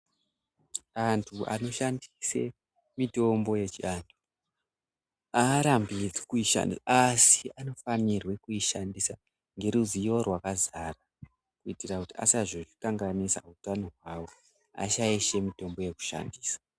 Antu anoshandise mitombo yechiantu arambidzwi kuishandisa asi anofanirwe kuishandisa ngeruziyo rwakazara kuitira kuti asazokanganisa utano hwawo ashaishe mitombo yekushandisa.